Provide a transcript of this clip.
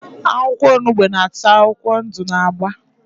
akwụkwọ onugbu n'ach akwụkwọ ndụ na agba.